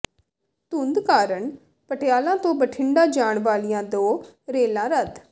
ਧੁੰਦ ਕਾਰਨ ਪਟਿਆਲਾ ਤੋਂ ਬਠਿੰਡਾ ਜਾਣ ਵਾਲੀਆਂ ਦੋ ਰੇਲਾਂ ਰੱਦ